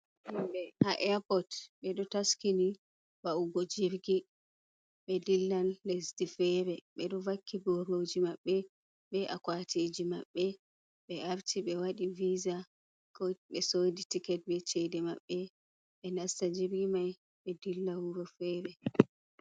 Himɓe ha eyapot ɓeɗo taskini va’ugo jirgi ɓe dillan lesdi fere ɓeɗo vakki boroji maɓbe be akwatiji maɓɓe ɓe arti ɓe waɗi visa ɓe soɗi tiket be chede maɓɓe ɓe nasta jirgi mai ɓe dilla wuro fere.